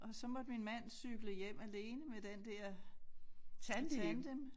Og så måtte min mand cykle hjem alene med den der tandem